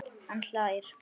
Hann hlær.